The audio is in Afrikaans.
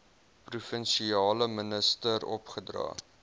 provinsiale minister opgedra